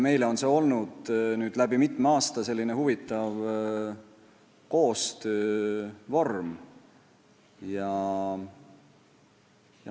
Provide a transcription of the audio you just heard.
Meie jaoks on see olnud läbi mitme aasta selline huvitav koostöövorm.